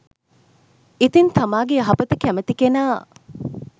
ඉතින් තමාගේ යහපත කැමති කෙනා